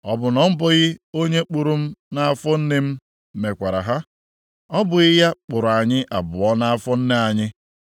Ọ bụ na ọ bụghị onye kpụrụ m nʼafọ nne m mekwara ha? Ọ bụghị ya kpụrụ anyị abụọ nʼafọ nne anyị?